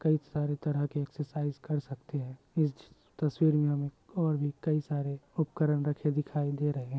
कई सारी तरह के एक्ससाइज कर सकते हैं इस तस्वीर में हमें और भी कई सारे उपकरन दिखाय दे रहे हैं ।